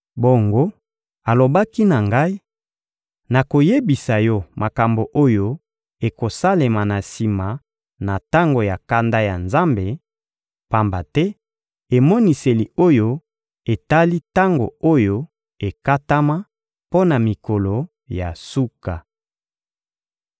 Bongo, alobaki na ngai: — Nakoyebisa yo makambo oyo ekosalema na sima na tango ya kanda ya Nzambe, pamba te emoniseli oyo etali tango oyo ekatama mpo na mikolo ya suka.